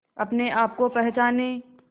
अपने आप को पहचाने